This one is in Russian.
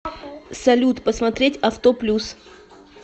салют посмотреть авто плюс